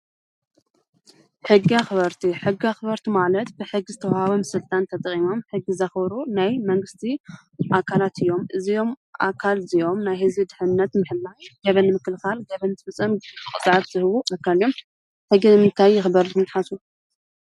ሕጊ ኣክበርቲ፡- ሕጊ ኣክበርቲ ማለት ብሕጊ ዝተወሃቦም ስልጣን ተጠቂሞም ሕጊ ዘክብሩ ናይ መንግስቲ ኣከላት እዮም፡፡ እዞም ኣካል እዚኦም ናይ ህዝቢ ድሕነነት ንምሕላው ገበን ንምክልካል ገበን ንዝፍፅም ቅፅዓት ዝህቡ ኣካል እዮም፡፡ ሕጊ ንምታይ ይክበር ኢልኩም ትሓስቡ?